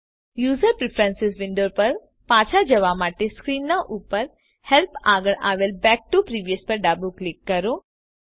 user preference window પર પાછા જવા માટે સ્ક્રીનના ઉપર હેલ્પ આગળ આવેલ બેક ટીઓ પ્રિવિયસ પર ડાબું ક્લિક કરો